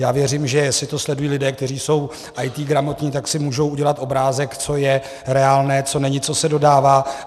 Já věřím, že jestli to sledují lidé, kteří jsou IT gramotní, tak si můžou udělat obrázek, co je reálné, co není, co se dodává.